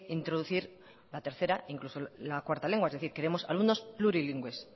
introducir la tercera incluso la cuarta lengua es decir queremos alumnos plurilingües